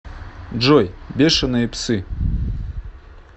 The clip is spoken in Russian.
джой бешеные псы